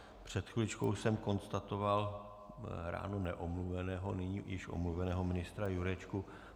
Před chviličkou jsem konstatoval ráno neomluveného, nyní již omluveného ministra Jurečku.